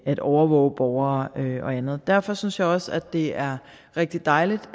at overvåge borgere og andet derfor synes jeg også det er rigtig dejligt